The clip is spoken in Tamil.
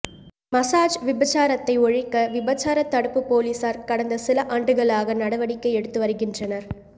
மசாஜ் விபசாரத்தை ஒழிக்க விபசார தடுப்பு போலீசார் கடந்த சில ஆண்டுகளாக நடவடிக்கை எடுத்து வருகின்றனர்